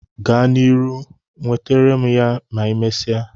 Gaa na iru, wetere m ya ma imesia